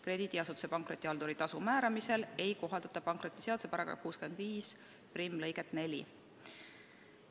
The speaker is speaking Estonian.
Krediidiasutuse pankrotihalduri tasu määramisel ei kohaldata pankrotiseaduse § 651 lõiget 4.".